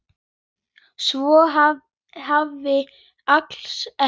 Svo hafi alls ekki verið.